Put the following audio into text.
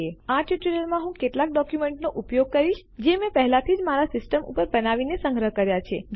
આ ટ્યુટોરીયલમાં હું કેટલાક ડોક્યુમેન્ટોનો ઉપયોગ કરીશ જે મેં પહેલાથી જ મારા સિસ્ટમ ઉપર બનાવીને સંગ્રહ કર્યા છે